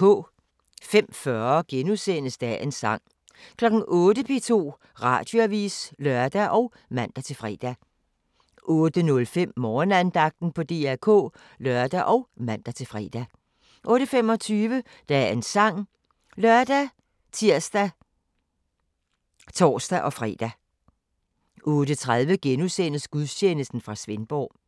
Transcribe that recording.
05:40: Dagens sang * 08:00: P2 Radioavis (lør og man-fre) 08:05: Morgenandagten på DR K (lør og man-fre) 08:25: Dagens sang ( lør, tir, tor-fre) 08:30: Gudstjeneste fra Svendborg *